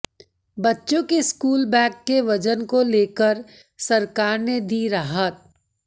बच्चों के school bag के वजन को लेकर सरकार ने दी राहत